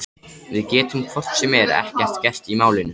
Við getum hvort sem er ekkert gert í málinu.